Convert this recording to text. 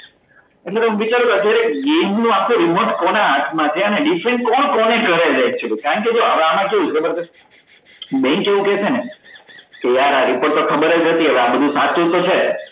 એટલે હુ વિચારું કે નું આખુ remote કોના હાથ માં છે અને કોણ કોને કરે છે actually કારણ કે જો એમાં કેવું છે ખબર છે bank એવુ કેસે ને કે યાર આ bank તો ખબર જ હતી હવે આ બધું સાચું તો છે